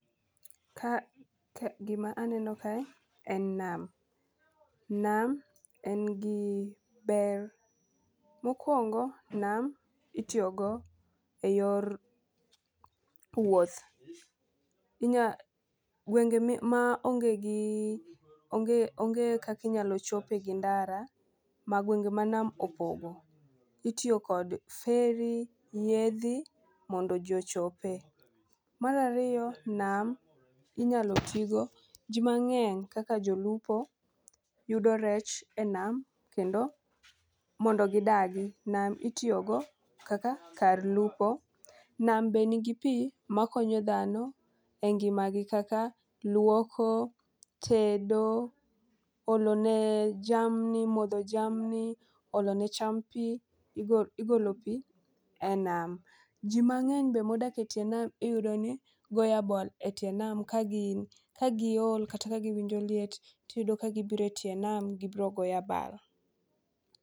Ka ka gima aneno ka en nam, nam en gi ber. Mokwongo nam itiyo go e yor wuoth. Inya gwenge mi ma onge gi onge onge kaki nyalo chope gi ndara gwenge ma nam opogo ,itiyo kod feri ,yiedhi mondo ji ochope. Mar ariyo, nam inyalo tigo jii mang'eny kaka jolupo yudo rech e nam. Kendo mondo gidagi nam itiyo go kaka kar lupo .Nam be nigi pii makonyo dhano e ngima gi kaka luoko ,tedo ,olo ne jamni, modho jamni , olo ne cham pii, igo igolo pii e nam . Jii angeny be modak etie nam iyudo ni goya bal e tie nam ka gin ka giol kata ka giwinjo liet tiyudo ka gibire tie nam gibiro goya bal.